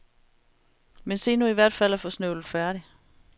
Men se nu i hvert fald at få snøvlet færdigt.